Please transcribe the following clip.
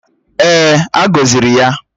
Èè, a gọziri ya.